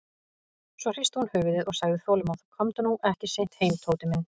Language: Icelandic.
Svo hristi hún höfuðið og sagði þolinmóð: Komdu nú ekki seint heim, Tóti minn.